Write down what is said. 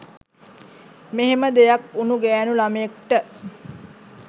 මෙහෙම දෙයක් වුණු ගෑණු ළමයෙක්ට